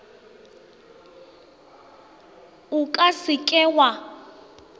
o ka se ke wa